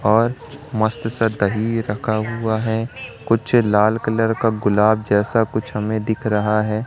और मस्त सा दही रखा हुआ है कुछ लाल कलर का गुलाब जैसा कुछ हमें दिख रहा है।